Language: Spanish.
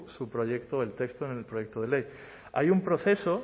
su proyecto el texto en el proyecto de ley hay un proceso